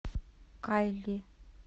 кайли